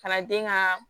Kalanden ka